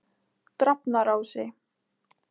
Drafnarási